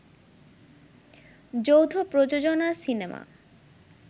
যৌথ প্রযোজনার সিনেমা